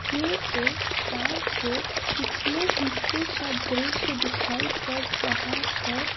ये एक कार के पिछले हिस्से का दृश्य दिखाई पड़ रहा है।